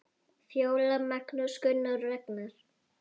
Fjóla, Magnús, Gunnar og Ragnar.